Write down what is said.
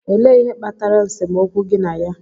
Elee ihe kpatara nsemokwu gi na ya?